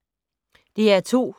DR2